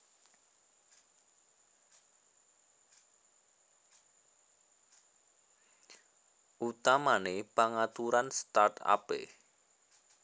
Utamané pangaturan start upé